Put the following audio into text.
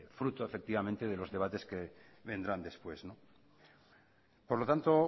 fruto efectivamente de los debates que vendrán después por lo tanto